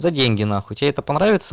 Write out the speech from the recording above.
за деньги на хуй тебе это понравится